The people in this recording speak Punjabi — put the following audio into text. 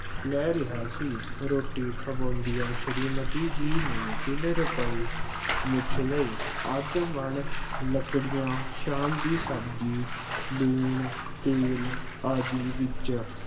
ਲੈ ਰਿਹਾ ਸੀ। ਰੋਟੀ ਖਵਾਉਂਦਿਆਂ ਸ਼੍ਰੀ ਮਤੀ ਜੀ ਨੇ ਤਿੰਨ ਰੁਪਏ ਮੁੱਚ ਲਏ। ਅੱਧ ਮਣ ਲੱਕੜੀਆਂ, ਸ਼ਾਮ ਦੀ ਸਬਜ਼ੀ, ਲੂਣ, ਤੇਲ ਆਦਿ ਵਿੱਚ